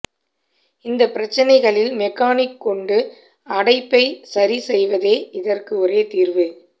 இந்த பிரச்சனைகளில் மெக்கானிக் கொண்டு அடைப்பை சரி செய்வதே இதற்கு ஒரே தீர்வு